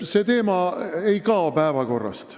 See teema ei kao päevakorralt.